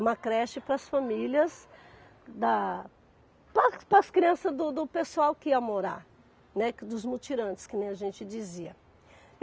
uma creche para as famílias, da para as crianças do do pessoal que ia morar, né, que dos mutirantes, como a gente dizia.